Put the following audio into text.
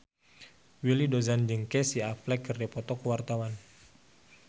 Willy Dozan jeung Casey Affleck keur dipoto ku wartawan